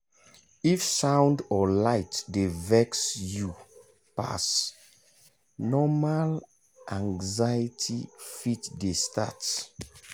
if sound or light dey vex you pass normal anxiety fit dey start.